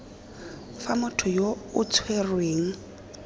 fa motho yo o tshwerweng